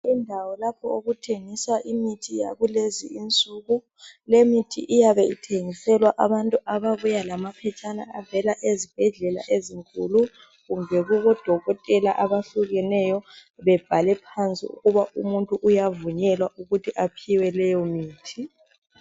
Indawo lapho okuthengiswa imithi yakulezi insuku lemithi iyabe ithengiselwa abantu ababuya lamaphetshana avela ezibhedlela ezinkulu kumbe kubo dokotela abahlukeneyo bebhale phansi ukuba umuntu uyavunyelwa ukuthi aphiwe leyo kuthi.